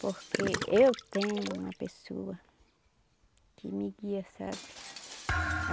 Porque eu tenho uma pessoa que me guia, sabe?